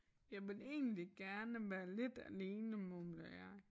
Jeg vil egentlig gerne være lidt alene mumler jeg